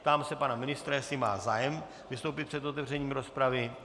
Ptám se pana ministra, jestli má zájem vystoupit před otevřením rozpravy.